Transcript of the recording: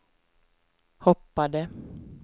hoppade